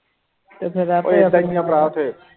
ਤੇ ਫਿਰ ਆਪੇ